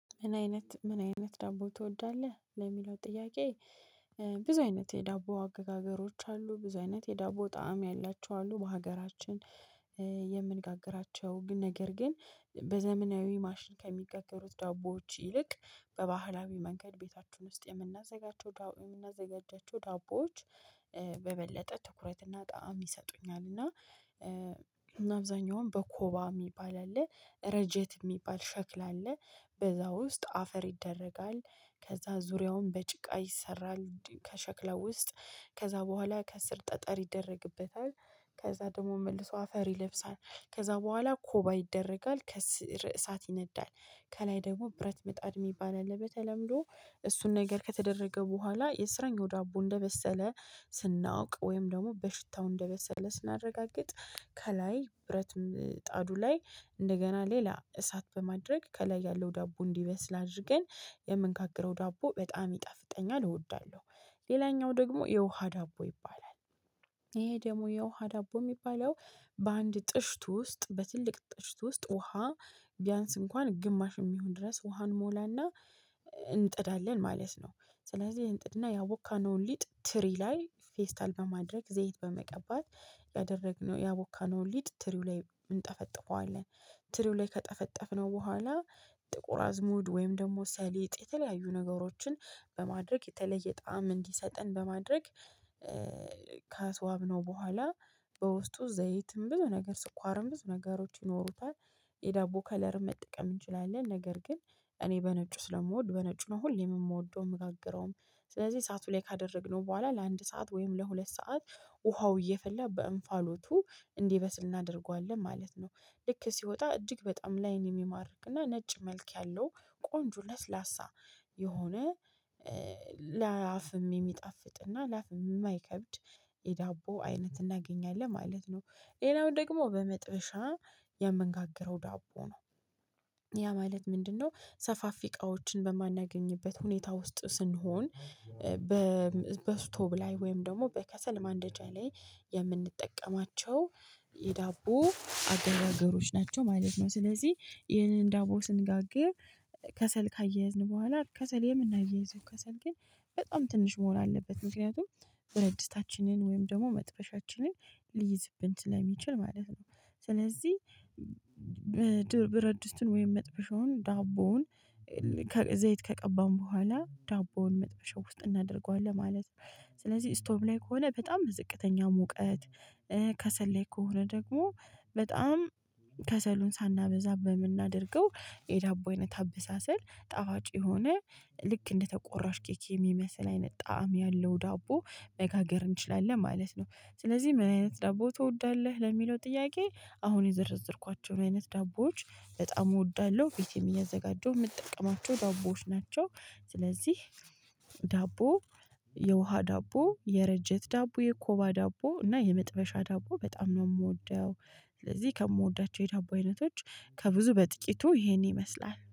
ምን አይነት ምን አይነት ዳቦ ትወዳለህ ለሚለው ጥያቄ? ብዙ አይነት የዳቦ አገጋገሮች አሉ ብዙ አይነት የዳቦ ጣዕም ያላቸው አሉ። በሀገራችን የምንጋግራቸው ነገር ግን በዘመናዊ ማሽን ከሚጋገሩት ዳቦዎች ይልቅ በባህላዊ መንገድ ቤታችን ውስጥ የምናዘጋጃቸው ዳቦ የምናዘጋጃቸው ዳቦዎች በበለጠ ትኩረትና ጣዕም ይሰጡኛል። እና አብዛኛውን በኮባ የሚባል አለ ረጀት የሚባል ሸክላ አለ በዛ ውስጥ አፈር ይደረጋል። ከዛ ዙሪያውን በጭቃ ይሰራል። ከሸክላው ውስጥ ከዛ በኋላ ከስር ጠጠር ይደረግበታል። ከዛ ደግሞ መልሶ አፈር ይለብሳል። ከዛ በኋላ ኮባ ይደረጋል ከስር እሳት ይነዳል። ከላይ ደግሞ ብረት ምጣድ የሚባል አለበት። በተለምዶ እሱን ነገር ከተደረገ በኋላ የስረኛው ዳቦ እንደበሰለ ስናውቅ ወይም ደግሞ በሽታው እንደበሰለ ስናረጋግጥ። ከላይ ብረት ምጣዱ ላይ እንደገና ሌላ እሳት በማድረግ ከላይ ያለው ዳቦ እንዲበስል አድርገን። የምንጋግረው ዳቦ በጣም ይጣፍጠኛል እወዳለሁ። ሌላኛው ደግሞ የውሃ ዳቦ ይባላል። ይሄ ደግሞ የውሃ ዳቦ የሚባለው በአንድ ጥሽት ውስጥ በትልቅ ጥሽት ውስጥ ውሃ ቢያንስ እንኳን ግማሽ የሚሆን ድረስ ውሃ እንሞላና። እንጥዳለን ማለት ነው። ስለዚህ እንጥድና ያቦካነውን ሊጥ ትሪ ላይ ፌስታል በማድረግ ዘይት በመቀባት ያደረግነው ያቦካነውን ሊጥ ትሪው ላይ እንጠፈጥፈዋለን። ትሪው ላይ ከጠፈጠፍነው በኋላ ጥቁር አዝሙድ ወይም ደግሞ ሰሊጥ የተለያዩ ነገሮችን በማድረግ የተለየ ጣዕም እንዲሰጠን በማድረግ። ከአስዋብነው በኋላ በውስጡ ዘይትም ብዙ ነገር ስኳርም ብዙ ነገሮች ይኖሩታል። የዳቦ ከለርም መጠቀም እንችላለን ነገር ግን እኔ በነጩ ስለምወድ በነጩ ነው ሁሌም የምወደው የምጋግረውም። ስለዚህ እሳቱ ላይ ካደረግነው በኋላ ለአንድ ሰዓት ወይም ለሁለት ሰዓት ውሃው እየፈላ በእንፋሎቱ እንዲበስል እናደርገዋለን ማለት ነው። ልክ ሲወጣ እጅግ በጣም ላይን የሚማርክና ነጭ መልክ ያለው ቆንጆ ለስላሳ የሆነ ለአፍም የሚጣፍጥ እና ለአፍም የማይከብድ የዳቦ አይነት እናገኛለን ማለት ነው። ሌላው ደግሞ በመጥበሻ የምንጋግረው ዳቦ ነው። ያ ማለት ምንድነው? ሰፋፊ እቃዎችን በማናገኝበት ሁኔታ ውስጥ ስንሆን በበስቶቭ ላይ ወይም ደግሞ በከሰል ማንደጃ ላይ የምንጠቀማቸው የዳቦ አገጋገሮች ናቸው ማለት ነው። ስለዚህ ይህንን ዳቦ ስንጋግር ከሰል ካያያዝን በኋላ ከሰል የምናያይዘው ከሰል ግን በጣም ትንሽ መሆን አለበት። ምክንያቱም ብረት ድስታችንን ወይም ደግሞ መጥበሻችንን ሊይዝብን ስለሚችል ማለት ነው። ስለዚህ ብረት ድስትን ወይም መጥበሻውን ዳቦውን ዘይት ከቀባን በኋላ ዳቦውን መጥበሻ ውስጥ እናደርገዋለን ማለት ነው። ስለዚህ ስቶብ ላይ ከሆነ በጣም ዝቅተኛ ሙቀት ከሰል ላይ ከሆነ ደግሞ በጣም ከሰሉን ሳናበዛ በምናደርገው የዳቦ አይነት አበሳሰል ጣፋጭ የሆነ ልክ እንደተቆራሽ ኬክ የሚመስል አይነት ጣዕም ያለው ዳቦ መጋገር እንችላለን ማለት ነው። ስለዚህ ምን አይነት ዳቦ ትወዳለህ ለሚለው ጥያቄ? አሁን የዘረዘርኳቸውን አይነት ዳቦዎች በጣም እወዳለሁ ቤቴም እያዘጋጀሁ የምጠቀማቸው ዳቦዎች ናቸው። ስለዚህ ዳቦ የውሃ ዳቦ የረጀት ዳቦ የኮባ ዳቦ እና የመጥበሻ ዳቦ በጣም ነው የምወደው። ስለዚህ ከምወዳቸው የዳቦ አይነቶች ከብዙ በጥቂቱ ይሄን ይመስላል